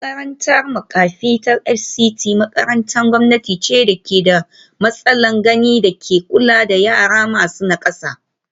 Makarantar makafi ta Fct makarantar gwamnati ce da ke da matsalar gani da ke kula da yara masu nakasa